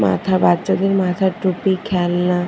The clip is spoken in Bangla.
মাথা বাচ্চাদের মাথার টুপি খেলনা।